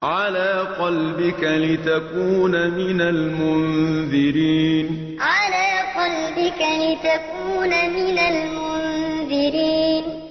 عَلَىٰ قَلْبِكَ لِتَكُونَ مِنَ الْمُنذِرِينَ عَلَىٰ قَلْبِكَ لِتَكُونَ مِنَ الْمُنذِرِينَ